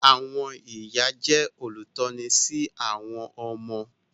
Àwọn ìyá jẹ́ olùtọ́ni sí àwọn ọmọ.